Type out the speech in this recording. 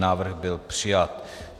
Návrh byl přijat.